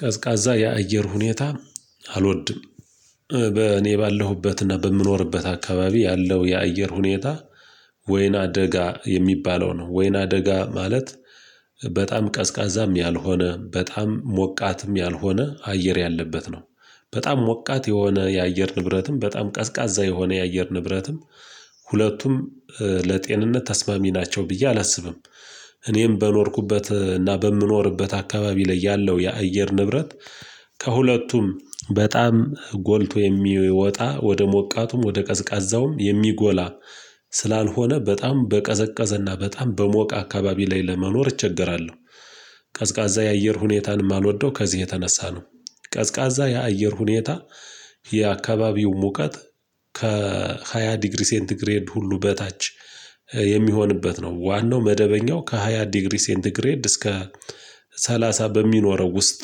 ቀዝቃዛ የአየር ሁኔታ አልወድም። በእኔ ባለሁበትና በምኖርበት አካባቢ ያለው የአየር ሁኔታ ወይና ደጋ የሚባለው ነው። ወይና ደጋ ማለት በጣም ቀዝቃዛም ያልሆነ በጣም ሞቃትም ያልሆነ አየር ያለበት ነው። በጣም ሞቃት የሆነ የአየር ንብረትም በጣም ቀዝቃዛ የሆነ የአየር ንብረትም ሁለቱም ለጤንነት ተስማሚ ናቸው ብዬ አላስብም። እኔም በኖርኩበት እና በምኖርበት አካባቢ ላይ ያለው የአየር ንብረት ከሁለቱም በጣም ጎልቶ የሚወጣ ወደ ሞቃቱም ወደ ቀዝቃዛውም የሚጎላ ስላልሆነ በጣም በቀዘቀዘና በጣም በሞቀ አካባቢ ላይ ለመኖር እቸገራለሁ። ቀዝቃዛ የአየር ሁኔታንም አልወደው ከዚህ የተነሳ ነው። ቀዝቃዛ የአየር ሁኔታ የአካባቢው ሙቀት ከሃያ ዲግሪ ሴንቲ ግሬድ ሁሉ በታች የሚሆንበት ነው። ዋናው መደበኛው ከሃያ ዲግሪ ሴንቲ ግሬድ እስከ ሰላሳ በሚኖረው ውስጥ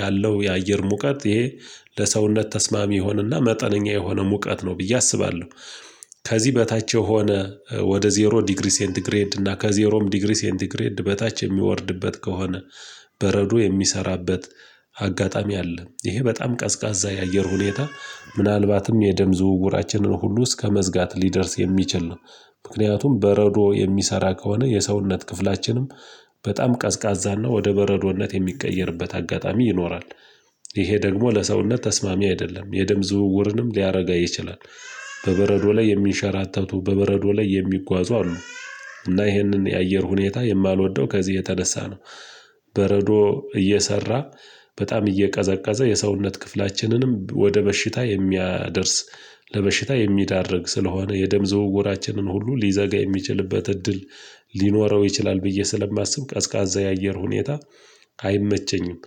ያለው የአየር ሙቀት ይሄ ለሰውነት ተስማሚ የሆነና መጠነኛ የሆነ ሙቀት ነው ብዬ አስባለሁ። ከዚህ በታች የሆነ ወደ ዜሮ ዲግሪ ሴንቲ ግሬድ እና ከዜሮም ዲግሪ ሴንቲግሬድ በታች የሚወርድበት ከሆነ በረዶ የሚሰራበት አጋጣሚ አለ። ይሄ በጣም ቀዝቃዛ የአየር ሁኔታ ምናልባትም የደም ዝውውራችንን ሁሉ እስከመዝጋት ሊደርስ የሚችል ነው። ምክንያቱም በረዶ የሚሰራ ከሆነ የሰውነት ክፍላችንም በጣም ቀዝቃዛና ወደ በረዶነት የሚቀየርበት አጋጣሚ ይኖራል። ይሄ ደግሞ ለሰውነት ተስማሚ አይደለም። የደም ዝውውርንም ሊያረጋ ይችላል። በበረዶ ላይ የሚንሸራተቱ በበረዶ ላይ የሚጓዙ አሉ። እና ይሄንን የአየር ሁኔታ የማልወደው ከዚህ የተነሳ ነው። በረዶ እየሰራ በጣም እየቀዘቀዘ የሰውነት ክፍላችንንም ወደ በሽታ የሚያደርስ ለበሽታ የሚዳርግ ስለሆነ የደም ዘውውራችንን ሁሉ ሊዘጋ የሚችልበት እድል ሊኖረው ይችላል ብዬ ስለማስብ ቀዝቃዛ የአየር ሁኔታ አይመቸኝም።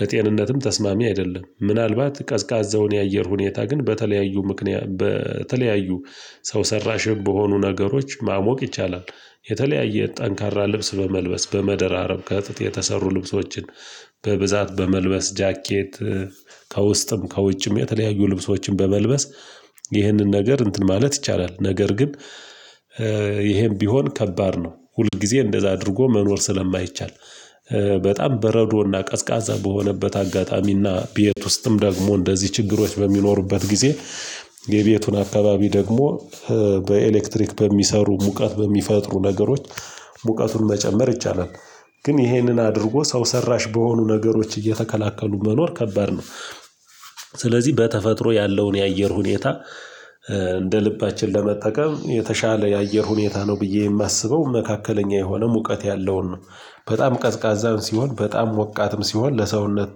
ለጤንነትም ተስማሚ አይደለም። ምናልባት ቀዝቃዛውን የአየር ሁኔታ ግን በተለያዩ ምክንያት በተለያዩ ሰው ሰራሽ በሆኑ ነገሮች ማሞቅ ይቻላል። የተለያየ ጠንካራ ልብስ በመልበስ በመደራረብ ከጥጥ የተሰሩ ልብሶችን በብዛት በመልበስ ጃኬት ከውስጥም ከውጭም የተለያዩ ልብሶችን በመልበስ ይህንን ነገር እንትን ማለት ይቻላል። ነገር ግን ይሄም ቢሆን ከባድ ነው። ሁል ጊዜ እንደዛ አድርጎ መኖር ስለማይቻል። በጣም በረዶና ቀዝቃዛ በሆነበት አጋጣሚና ቤት ውስጥም ደግሞ እንደዚህ ችግሮች በሚኖሩበት ጊዜ የቤቱን አካባቢ ደግሞ በኤሌክትሪክ በሚሰሩ ሙቀት በሚፈጥሩ ነገሮች ሙቀቱን መጨመር ይቻላል። ግን ይሄንን አድርጎ ሰው ሰራሽ በሆኑ ነገሮች እየተከላከሉ መኖር ከባድ ነው። ስለዚህ በተፈጥሮ ያለውን የአየር ሁኔታ እንደ ልባችን ለመጠቀም የተሻለ የአየር ሁኔታ ነው ብዬ የማስበው መካከለኛ የሆነ ሙቀት ያለውን ነው። በጣም ቀዝቃዛም ሲሆን በጣም ሞቃትም ሲሆን ለሰውነት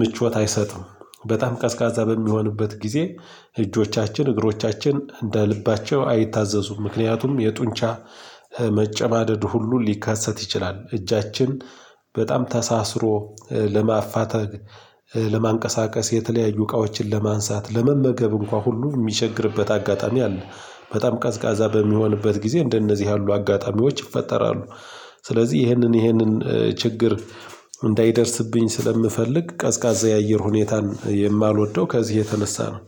ምቾት አይሰጥም። በጣም ቀዝቃዛ በሚሆንበት ጊዜ እጆቻችን እግሮቻችን እንደ ልባቸው አይታዘዙም። ምክንያቱም የጡንቻ መጨማደድ ሁሉ ሊካሰት ይችላል። እጃችን በጣም ተሳስሮ ለማፋተግ፣ ለማንቀሳቀስ፣ የተለያዩ እቃዎችን ለማንሳት፣ ለመመገብ እንኳን ሁሉ የሚቸግርበት አጋጣሚ አለ። በጣም ቀዝቃዛ በሚሆንበት ጊዜ እንደነዚህ ያሉ አጋጣሚዎች ይፈጠራሉ። ስለዚህ ይህንን ይህንን ችግር እንዳይደርስብኝ ስለምፈልግ ቀዝቃዛ የአየር ሁኔታን የማልወደው ከዚህ የተነሳ ነው።